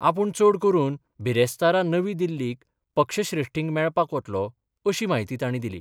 आपूण चड करून बिरेस्तारा नवी दिल्लीक पक्षश्रेश्ठींक मेळपाक वतलों अशी माहिती तांणी दिली.